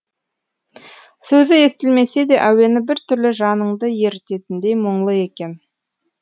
сөзі естілмесе де әуені біртүрлі жаныңды ерітетіндей мұңлы екен